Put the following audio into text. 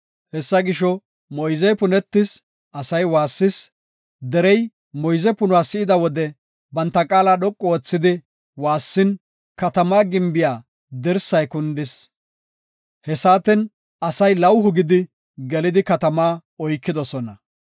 Hessa gisho, moyzey punetis; asay waassis. Derey moyze punuwa si7ida wode banta qaala dhoqu oothi waassin, katamaa gimbiya dirsay kundis. He saaten asay lawuhu gidi gelidi katamaa oykidosona.